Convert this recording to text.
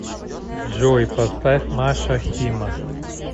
джой поставь маша хима